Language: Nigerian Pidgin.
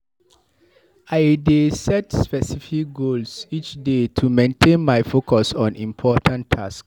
I dey set specific goals each day to maintain my focus on important tasks.